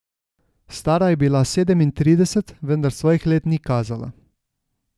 Stara je bila sedemintrideset, vendar svojih let ni kazala.